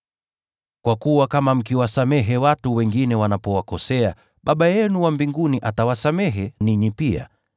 Kwa kuwa kama mkiwasamehe watu wengine wanapowakosea, Baba yenu wa mbinguni atawasamehe ninyi pia.